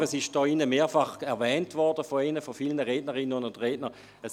Aber es wurde hier drin mehrfach von vielen Rednerinnen und Rednern erwähnt: